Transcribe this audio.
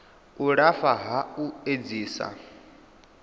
u lafha ha u edzisa